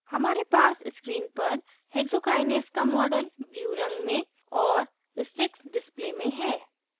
हमारे पास screen पर hexokinase का model blue रंग में और sticks display में है